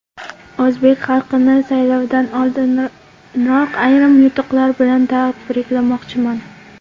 O‘zbek xalqini saylovdan oldinoq ayrim yutuqlar bilan tabriklamoqchiman.